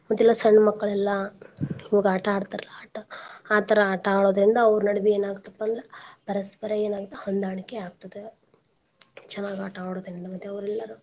ಮತ್ತ್ ಎಲ್ಲಾ ಸಣ್ಣ ಮಕ್ಳ್ ಎಲ್ಲಾ ಹೋಗ್ ಆಟಾ ಆಡ್ತಾರಲ್ ಆಟಾ ಆತರ ಆಟ ಆಡೋದ್ರಿಂದ ಅವ್ರ ನಡ್ವೇ ಏನ್ ಆಗತ್ ಪಾ ಅಂದ್ರ ಪರಸ್ಪರ ಎನಾಗತ್ ಹೊಂದಾಣಿಕೆ ಆಗ್ತದ ಚನಾಗ್ ಆಟಾ ಆಡೋದ್ರಿಂದ ಮತ್ತೆಅವರೆಲ್ಲರೂ.